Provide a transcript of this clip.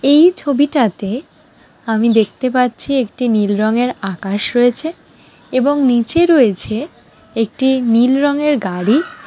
এই ছবিটাতে আমি দেখতে পাচ্ছিএকটি নীল রঙের আকাশ রয়েছে এবং নিচে রয়েছে একটি নীল রঙের গাড়ি ।